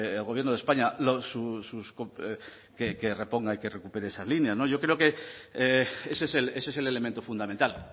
al gobierno de españa que reponga y que recupere esas líneas no yo creo que ese es el elemento fundamental